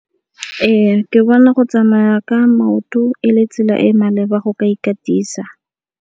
Ee, ke bona go tsamaya ka maoto e le tsela e maleba go ka ikatisa.